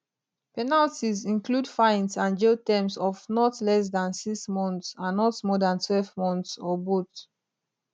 penalties include fines and jail terms of not less than six months and not more dan twelve months or both